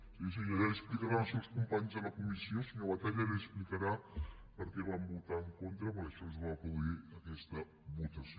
sí sí ja li ho explicaran els seus companys de la comissió senyor batalla li explicaran per què hi van votar en contra perquè això es va produir aquesta votació